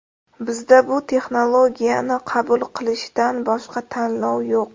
Bizda bu texnologiyani qabul qilishdan boshqa tanlov yo‘q.